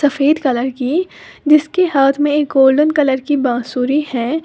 सफेद कलर की जिसके हाथ में एक गोल्डन कलर की बांसुरी है।